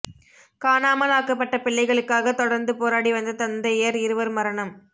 காணாமல் ஆக்கப்பட்ட பிள்ளைகளுக்காக தொடர்ந்து போராடி வந்த தந்தையர் இருவர் மரணம்